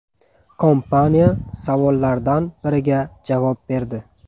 Kompaniya savollardan biriga javob berdi.